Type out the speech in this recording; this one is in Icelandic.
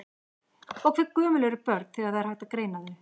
Og hve gömul eru börn þegar það er hægt að greina þau?